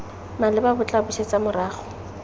maleba bo tla busetsa morago